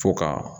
Fo ka